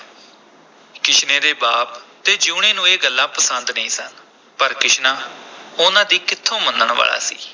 ਕਿਸ਼ਨੇ ਦੇ ਬਾਪ ਅਤੇ ਜੀਊਣੇ ਨੂੰ ਇਹ ਗੱਲਾਂ ਪਸੰਦ ਨਹੀਂ ਸਨ, ਪਰ ਕਿਸ਼ਨਾ ਉਨ੍ਹਾਂ ਦੀ ਕਿੱਥੋਂ ਮੰਨਣ ਵਾਲਾ ਸੀ।